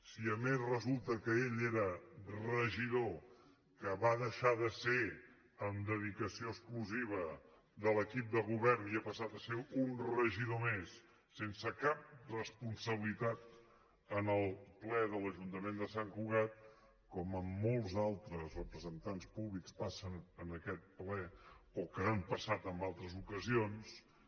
si a més resulta que ell era regidor que ho va deixar de ser amb dedicació exclusiva de l’equip de govern i ha passat a ser un regidor més sense cap responsabilitat en el ple de l’ajuntament de sant cugat com amb molts altres representants públics passa en aquest ple o que hi han passat en altres ocasions